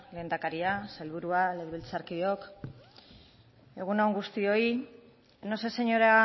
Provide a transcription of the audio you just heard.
lehendakaria sailburua legebiltzarkideok egun on guztioi no sé señora